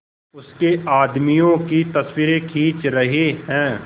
उसके आदमियों की तस्वीरें खींच रहे हैं